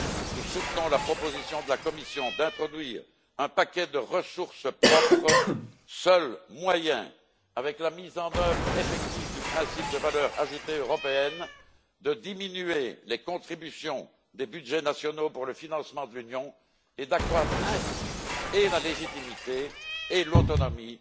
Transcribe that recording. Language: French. Nous soutenons la proposition de la Commission d'introduire un paquet de ressources propres, seul moyen, avec la mise en œuvre effective du principe de valeur ajoutée européenne, de diminuer les contributions des budgets nationaux au financement de l'Union et d'accroître ainsi la légitimité et l'autonomie